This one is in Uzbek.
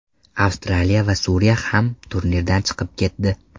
Avstraliya va Suriya ham turnirdan chiqib ketdi.